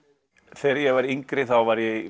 þegar ég var yngri þá var ég í